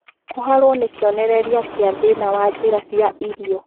Kũharwo nĩ kĩonererĩa kĩa thĩna wa njĩra cia irio